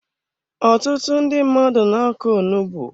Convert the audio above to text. Ọtụtụ ndị mmadụ na-akọ onugbu.